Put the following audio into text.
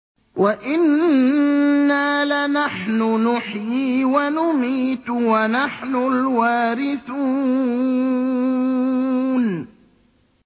وَإِنَّا لَنَحْنُ نُحْيِي وَنُمِيتُ وَنَحْنُ الْوَارِثُونَ